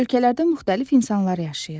Ölkələrdə müxtəlif insanlar yaşayır.